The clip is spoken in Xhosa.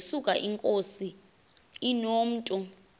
yesuka inkosi inomntu